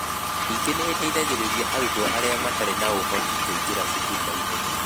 Ningĩ nĩ ĩteithagĩrĩria arutwo arĩa matarĩ na ũhoti kũingĩra cukuru na ihenya.